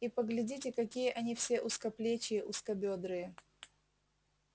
и поглядите какие они все узкоплечие узкобёдрые